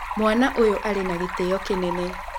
Mwaana ũyũ arĩ na gĩtĩo kĩnene.